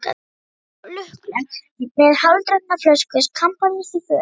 Við erum svo lukkuleg, með hálfdrukkna flösku kampavíns í fötu.